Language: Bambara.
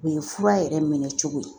O ye fura yɛrɛ minɛ cogo ye